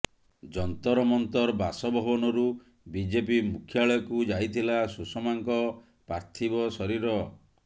Jantar Mantar ବାସଭବନରୁ BJP ମୁଖ୍ୟାଳୟକୁ ଯାଇଥିଲା ସୁଷମାଙ୍କ ପାର୍ଥିବ ଶରୀର